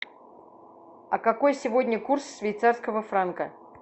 а какой сегодня курс швейцарского франка